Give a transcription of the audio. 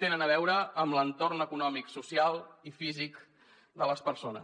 tenen a veure amb l’entorn econòmic social i físic de les persones